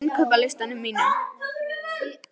Magndís, hvað er á innkaupalistanum mínum?